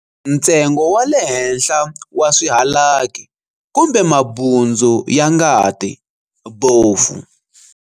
Ntsengo wa le henhla wa swihalaki, kumbe mabundzu ya ngati, bofu.